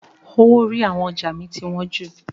Owó orí àwọn ọjà mi ti wọn jù.